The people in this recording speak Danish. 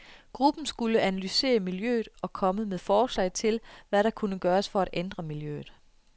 Gruppen skulle analysere miljøet og komme med forslag til, hvad der kunne gøres for at ændre miljøet.